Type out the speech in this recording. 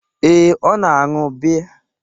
Ee, ọ na-aṅụ biya.